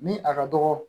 Ni a ka dɔgɔ